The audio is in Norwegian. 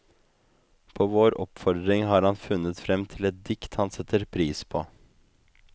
På vår oppfordring har han funnet frem til et dikt han setter pris på.